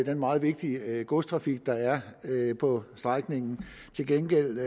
den meget vigtige godstrafik der er på strækningen til gengæld